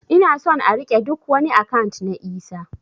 Ina son a rike ɗuk wani akant na Isah